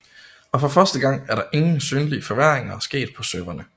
Og for første gang er der ingen synlige forværringer sket på serverne